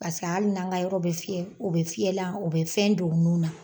Paseke hali n'an ka yɔrɔ be fiyɛ, u be fiyɛlan u be fɛn don u nun na.